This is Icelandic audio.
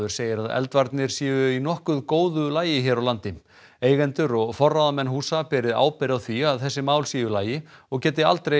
segir að eldvarnir séu í nokkuð góðu lagi hér á landi eigendur og forráðamenn húsa beri ábyrgð á því að þessi mál séu í lagi og geti aldrei